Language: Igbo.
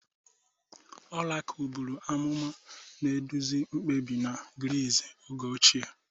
Orakul buru amụma, na-eduzi mkpebi na Gris oge ochie.